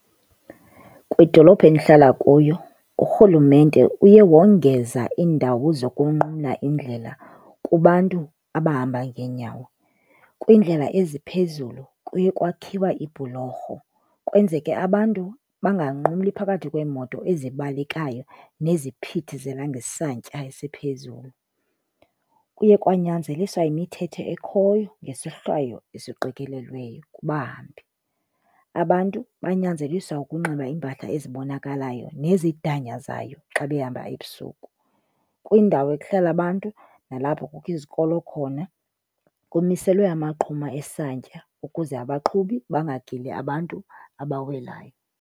Kwidolophu endihlala kuyo urhulumente uye wongeza iindawo zokunqumla indlela kubantu abahamba ngeenyawo. Kwiindlela eziphezulu kuye kwakhiwa iibhulorho kwenzeke abantu banganqumli phakathi kweemoto ezibalekayo neziphithizela ngesantya esiphezulu. Kuye kwanyanzeliswa imithetho ekhoyo ngesohlwayo esiqikelelweyo kubahambi. Abantu banyanzeliswa ukunxiba iimpahla ezibonakalayo nezidanyazayo xa behamba ebusuku. Kwiindawo ekuhlala abantu nalapho kukho izikolo khona, kumiselwe amaqhuma esantya ukuze abaqhubi bangagili abantu abawelayo.